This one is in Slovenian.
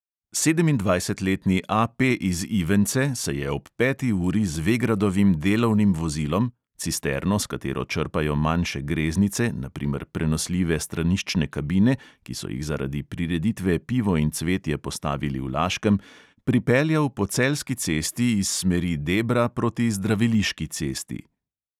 Sedemindvajsetletni A P iz ivence se je ob peti uri z vegradovim delovnim vozilom (cisterno, s katero črpajo manjše greznice, na primer prenosljive straniščne kabine, ki so jih zaradi prireditve pivo in cvetje postavili v laškem), pripeljal po celjski cesti iz smeri debra proti zdraviliški cesti.